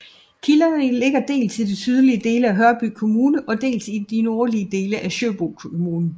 Kilderne ligger dels i de sydlige dele af Hörby kommun og dels i de nordlige dele af Sjöbo kommun